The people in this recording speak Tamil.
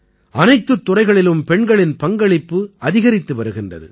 அனைத்துத் துறைகளிலும் பெண்களின் பங்களிப்பு அதிகரித்து வருகின்றது